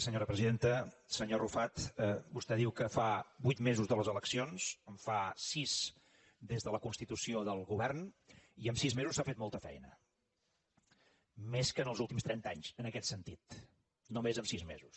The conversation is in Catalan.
senyor arrufat vostè diu que fa vuit mesos de les eleccions en fa sis des de la constitució del govern i en sis mesos s’ha fet molta feina més que en els últims trenta anys en aquest sentit només en sis mesos